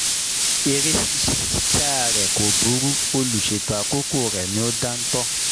Eré ṣíṣá re kò burú, olùṣètò àkókò rẹ̀ ni ò dáńtọ́